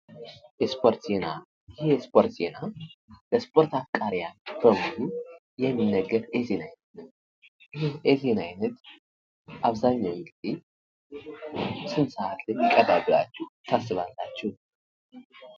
የስፖርት ዜና ይኽ የስፖርት ዜና ለስፖርት አፍቃሪያኖች በሙሉ የሚነገር የዜና አይነት ነው። ይህ የዜና አይነት አብዛኛውን ግዜ ስንት ሰዓት ላይ ይቅርባል ብላችሁ ታስባላችሁ?